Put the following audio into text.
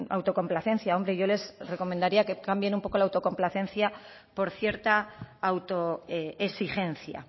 autocomplacencia hombre yo les recomendaría que cambien un poco la autocomplacencia por cierta autoexigencia